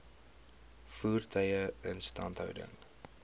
voertuie instandhouding